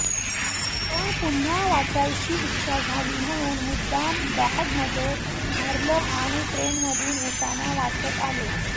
पण पुन्हा वाचायची इच्छा झाली म्हणून मुद्दाम बॅगमध्ये भरलं आणि ट्रेनमधून येताना वाचत आले